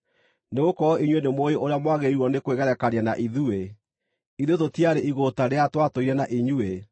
Nĩgũkorwo inyuĩ nĩmũũĩ ũrĩa mwagĩrĩirwo nĩ kwĩgerekania na ithuĩ. Ithuĩ tũtiarĩ igũũta rĩrĩa twatũire na inyuĩ,